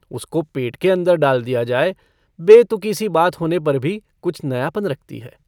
उसको पेट के अन्दर डाल दिया जाये बेतुकी सी बात होने पर भी कुछ नयापन रखती है।